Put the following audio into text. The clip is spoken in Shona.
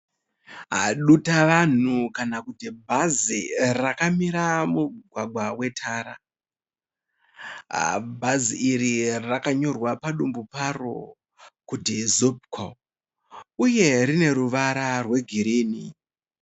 Dutavanhu kana kuti bhazi rakamira mumugwagwa wetara. Bhazi iri rakanyorwa padumbu paro kuti ZUPCO. Uye rine ruvara rwe girinhi.